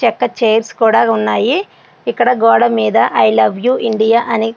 చెక్క చేర్స్ కూడా ఉన్నాయి. కడుక్కోవడం ఎలా ఐ లవ్ యు ఇండియా అని రాసి ఉంది.